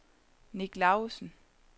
Nick Lausen